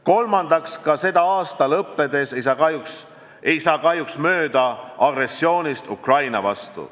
Kolmandaks, ka selle aasta lõppedes ei saa kahjuks mööda agressioonist Ukraina vastu.